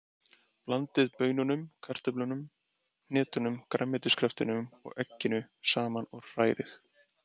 Blandið baununum, kartöflunum, hnetunum, grænmetiskraftinum og egginu saman og hrærið.